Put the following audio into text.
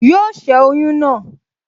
Yóò ṣẹ́ oyún náà